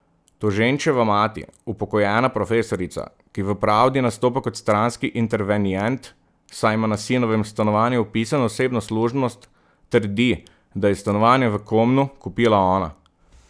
Toženčeva mati, upokojena profesorica, ki v pravdi nastopa kot stranski intervenient, saj ima na sinovem stanovanju vpisano osebno služnost, trdi, da je stanovanje v Komnu kupila ona.